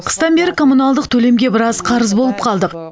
қыстан бері коммуналдық төлемге біраз қарыз болып қалдық